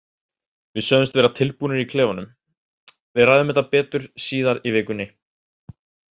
Við sögðumst vera tilbúnir í klefanum, en við ræðum betur um þetta síðar í vikunni.